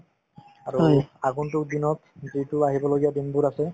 আৰু আগন্তুক দিনত যিটো আহিবলগীয়া দিনবোৰ আছে